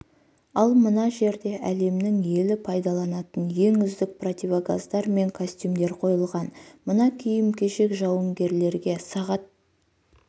ал мына жерде әлемнің елі пайдаланатын ең үздік противогаздар мен костюмдер қойылған мына киім-кешек жауынгерлерге сағат